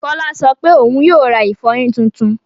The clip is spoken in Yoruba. Fọlá sọ pé òun yóò ra ìfọyín tuntun.